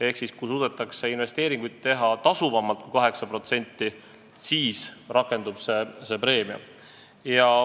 Ehk kui suudetakse investeeringuid teha tasuvamalt kui 8%, siis rakendub see preemia.